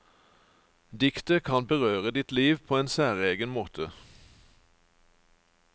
Diktet kan berøre ditt liv på en særegen måte.